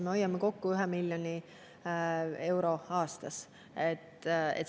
Me hoiame kokku 1 miljon eurot aastas.